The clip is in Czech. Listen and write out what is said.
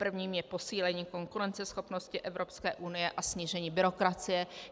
Prvním je posílení konkurenceschopnosti Evropské unie a snížení byrokracie.